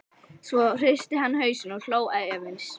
Svo hristi hann hausinn og hló efins.